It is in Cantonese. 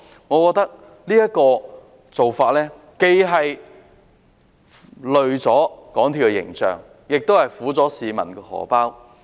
我認為這種做法既拖累了港鐵公司的形象，亦苦了市民的錢包。